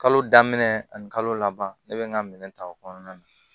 Kalo daminɛ ani kalo laban ne bɛ n ka minɛn ta o kɔnɔna na